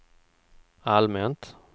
allmänt